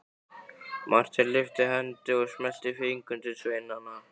Marteinn lyfti hendi og smellti fingrum til sveinanna.